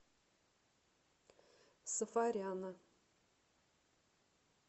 сафаряна